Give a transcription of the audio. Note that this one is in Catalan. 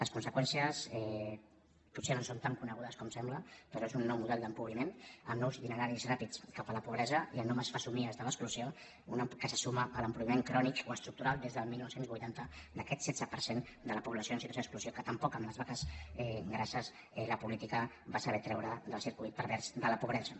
les conseqüències potser no són tan conegudes com sembla però és un nou model d’empobriment amb nous itineraris ràpids cap a la pobresa i amb noves fesomies de l’exclusió que se suma a l’empobriment crònic o estructural des del dinou vuitanta d’aquest setze per cent de la població en situació d’exclusió que tampoc amb les vaques grasses la política va saber treure del circuit pervers de la pobresa